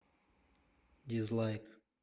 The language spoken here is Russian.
дизлайк